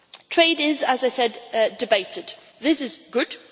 Trade is, as I said, debated, and this is good.